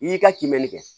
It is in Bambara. I y'i ka kimɛni kɛ